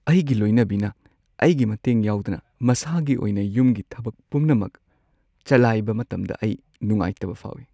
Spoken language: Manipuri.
ꯑꯩꯒꯤ ꯂꯣꯏꯅꯕꯤꯅ ꯑꯩꯒꯤ ꯃꯇꯦꯡ ꯌꯥꯎꯗꯅ ꯃꯁꯥꯒꯤ ꯑꯣꯏꯅ ꯌꯨꯝꯒꯤ ꯊꯕꯛ ꯄꯨꯝꯅꯃꯛ ꯆꯂꯥꯏꯕ ꯃꯇꯝꯗ ꯑꯩ ꯅꯨꯉꯥꯏꯇꯕ ꯐꯥꯎꯏ ꯫